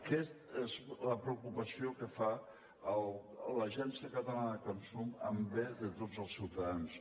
aquesta és la preocupació que té l’agència catalana de consum en bé de tots els ciutadans